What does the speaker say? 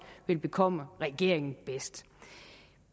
vil bekomme regeringen bedst